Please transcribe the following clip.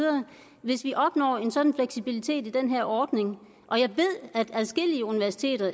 hvis vi opnår en sådan fleksibilitet i den ordning og jeg ved at adskillige universiteter